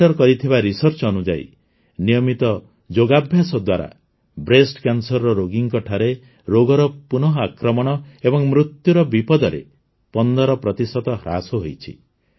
centre କରିଥିବା research ଅନୁଯାୟୀ ନିୟମିତ ଯୋଗାଭ୍ୟାସ ଦ୍ୱାରା ବ୍ରେଷ୍ଟ Cancerର ରୋଗୀଙ୍କଠାରେ ରୋଗର ପୁନଃଆକ୍ରମଣ ଏବଂ ମୃତ୍ୟୁର ବିପଦରେ ୧୫ ପ୍ରତିଶତ ହ୍ରାସ ହୋଇଛି